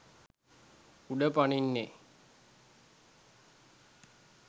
උඩ පනින්නේ?